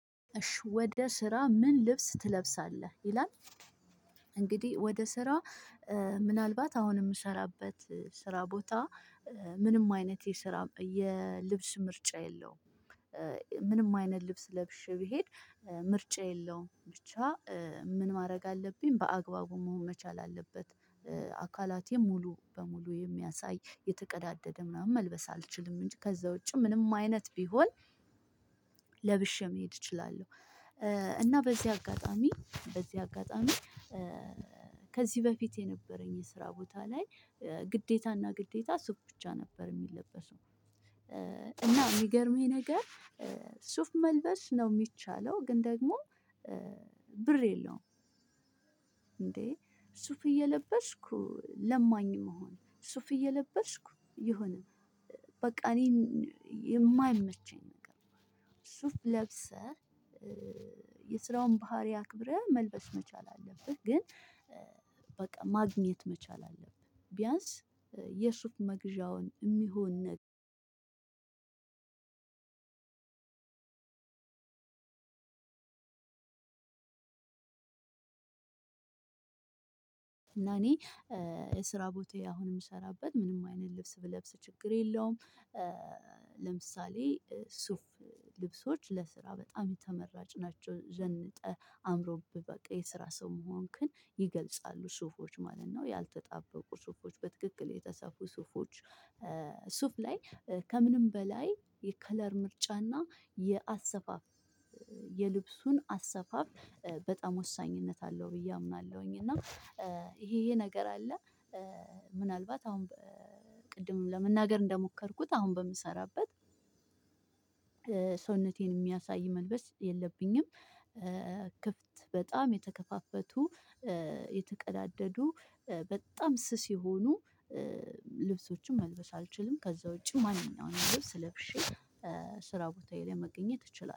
እሺ ወደ ስራ ምን ልብስ ትለብሳለህ ይላል? እንግዲህ ወደ ሰራ ምንአልባት አሁን የምሰራበት ስራ ቦታ ምንም አይነት የስራ የ ልብስ ምርጫ የለውም። ምንም አይነት ልብስ ለብሼ ብሄድ ምርጫ የለውም ብቻ ምን ማድረግ አለብኝ በአግባቡ መሆን መቻል አለበት። አካላቴን ሙሉ በሙሉ የሚያሳይ የተቀዳደደ ምናምን መልበስ አልችልም እንጂ ከዛ ውጪ ምንም አይነት ቢሆን ለብሼ መሄድ እችላለሁ። እና በዚህ አጋጣሚ በዚህ አጋጣሚ ከዚህ በፊት የነበረኝ የስራ ቦታ ላይ ግዴታና ግዴታ ሱፍ ብቻ ነበር የሚለበሰው። እና የሚገርመኝ ነገር ሱፍ መልበስ ነው የሚቻለው ግን ደግሞ ብር የለውም። ሱፍ እየለበስኩ ለማኝ መሆን ሱፍ እየለበስኩ የሆነ በቃ እኔን የማይመቸኝ ነገር። ሱፍ ለብሰህ የስራውን ባህሪ አክብረህ መልበስ መቻል አለብህ። ግን በቃ ማግኘት መቻል አለብህ ቢያንስ የሱፍ መግዣ የሚሆነን። እና እኔ የስራ ቦታዬ አሁን የምሰራበት ምንም አይነት ልብስ ብለብስ ችግር የለውም። ለምሳሌ ሱፍ ልብሶች ለስራ በጣም ተመራጭ ናቸው ዘንጠህ አምሮብህ በቃ የስራ ሰው መሆን ግን ይገልጻሉ ሱፎች ማለት ነው። ያልተጣበቁ ሱፎች በትክክል የተሰፉ ሱፎች ሱፍ ላይ ከምንም በላይ የከለር ምርጫና የአሰፋፍ የልብሱን አሰፋፍ በጣም ወሳኝነት አለው ብዬ አምናለሁኝ። እና ይሄ ይሄ ነገር አለ። ምናልባት አሁን ቅድምም ለመናገር እንደሞከርኩት አሁን በምሰራበት ሰውነቴን የሚያሳይ መልበስ የለብኝም። ክፍት በጣም የተከፋፈቱ የተቀዳደዱ በጣም ስስ የሆኑ ልብሶችን መልበስ አልችልም ከዛ ውጪ ማንኛውንም ልብስ ለብሼ ስራ ቦታዬ ላይ መገኘት እችላለሁ